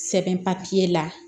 Sɛbɛn la